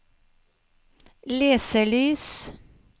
leselys